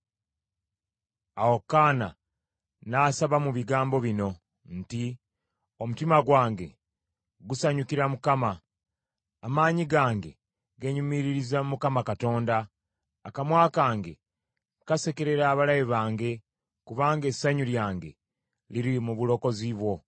Awo Kaana n’asaba mu bigambo bino nti, “Omutima gwange gusanyukira Mukama ; amaanyi gange geenyumiririza mu Mukama Katonda. Akamwa kange kasekerera abalabe bange, kubanga essanyu lyange liri mu bulokozi bwo.”